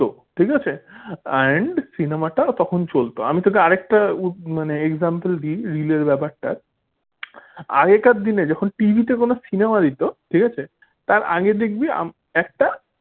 ঠিক আছে and cinema টা তখন চলত আমি তোকে আর একটা উ example দিই রিল ব্যাপারটা আগেকার দিনে যখন TV তে কোন cinema দিত ঠিক আছে? তার আগে দেখবি একটা